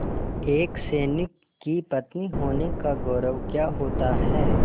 एक सैनिक की पत्नी होने का गौरव क्या होता है